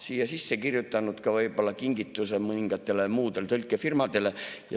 Siia sisse on kirjutatud ka kingitus mõningatele muudele tõlkefirmadele.